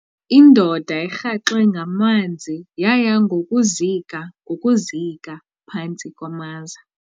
Indoda erhaxwe ngamanzi yaya ngokuzika ngokuzika phantsi kwamaza.